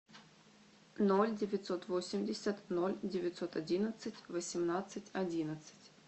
ноль девятьсот восемьдесят ноль девятьсот одиннадцать восемнадцать одиннадцать